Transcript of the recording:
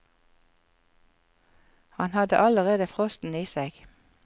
Han hadde allerede frosten i seg.